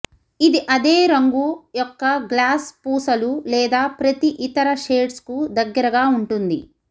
ఇది అదే రంగు యొక్క గ్లాస్ పూసలు లేదా ప్రతి ఇతర షేడ్స్కు దగ్గరగా ఉంటుంది